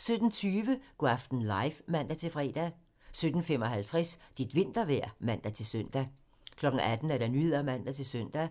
17:20: Go' aften live (man-fre) 17:55: Dit vintervejr (man-søn) 18:00: Nyhederne (man-søn) 18:20: